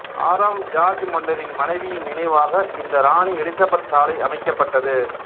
ஆறாம் சார்ஜ் மன்னரின் மனைவியின் நினைவாக இந்த இராணி எலிசபெத் சாலை அமைக்கப்பட்டது